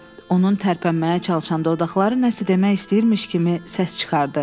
Onun tərpənməyə çalışan dodaqları nəsə demək istəyirmiş kimi səs çıxardı.